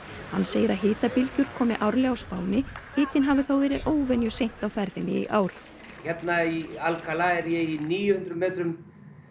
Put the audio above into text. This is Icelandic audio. hann segir að hitabylgjur komi árlega á Spáni hitinn hafi þó verið óvenjuseint á ferðinni í ár hérna í Alcalá er ég í níu hundruð metrum